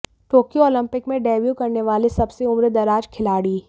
Tokyo Olympic में debut करने वाला सबसे उम्रदराज खिलाड़ी